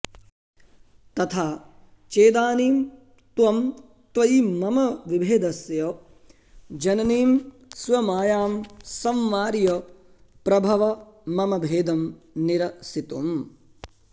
तथा चेदानीं त्वं त्वयि मम विभेदस्य जननीं स्वमायां संवार्य प्रभव मम भेदं निरसितुम्